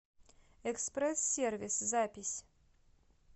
экспресс сервис запись